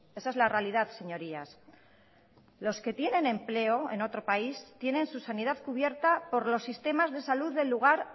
esa es la realidad señorías los que tienen empleo en otro país tienen su sanidad cubierta por los sistemas de salud del lugar